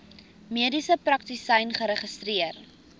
mediese praktisyn geregistreer